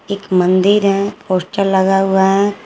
मंदिर है पोस्टर लगा हुआ है।